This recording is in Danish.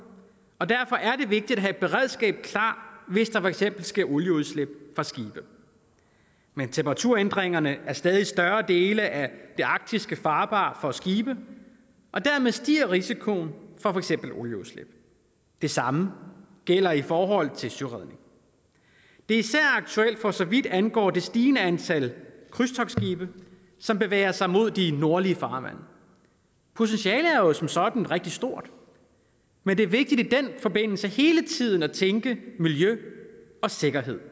og derfor er det vigtigt at have et beredskab klar hvis der for eksempel sker olieudslip fra skibe med temperaturændringerne er stadig større dele af det arktiske farbart for skibe og dermed stiger risikoen for for eksempel olieudslip det samme gælder i forhold til søredning det er især aktuelt for så vidt angår det stigende antal krydstogtskibe som bevæger sig mod de nordlige farvande potentialet er jo som sådan rigtig stort men det er vigtigt i den forbindelse hele tiden at tænke miljø og sikkerhed